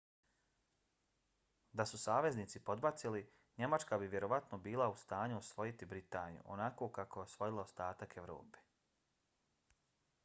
da su saveznici podbacili njemačka bi vjerovatno bila u stanju osvojiti britaniju onako kako je osvojila ostatak evrope